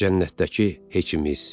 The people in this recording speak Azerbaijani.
Cənnətdəki heçimiz.